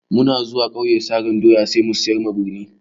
Muna zuwa ƙauye sarin doya sai mu siyar a birni.